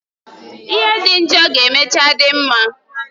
Ihe dị njọ ga emechaa dị mma